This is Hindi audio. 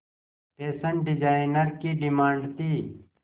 फैशन डिजाइनर की डिमांड थी